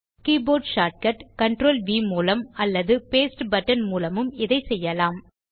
keyboard shortcut CtrlV மூலம் அல்லது paste button மூலமும் இதைச் செய்யலாம்